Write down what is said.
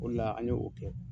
O le la an ye o kɛ.